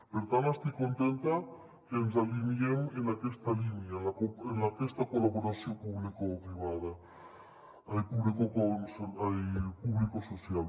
per tant estic contenta que ens alineem en aquesta línia en aquesta col·laboració publicosocial